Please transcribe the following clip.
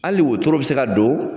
Hali wotoro bɛ se ka don.